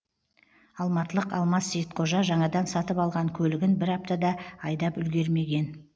алматылық алмас сейітқожа жаңадан сатып алған көлігін бір апта да айдап үлгермеген